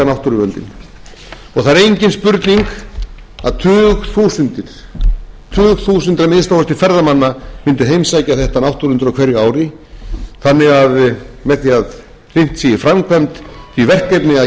spurning að tugþúsundir aþmk ferðamanna mundu heimsækja þetta náttúruundur á hverju ári þannig að með því að hrint sé í framkvæmd því verkefni að